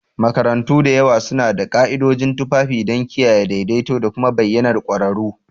Makarantu da yawa suna da ka'idojin tufafi don kiyaye daidaito da kuma bayyanar ƙwararru.